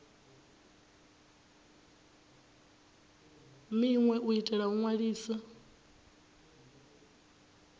minwe u itela u ṅwalisa